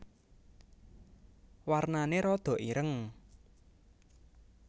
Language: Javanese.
Warnané rada ireng